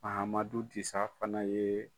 Mahamadu Disa fana ye